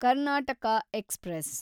Karnataka express